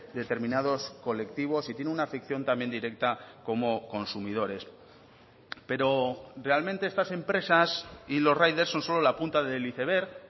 determinados colectivos y tiene una afección también directa como consumidores pero realmente estas empresas y los riders son solo la punta del iceberg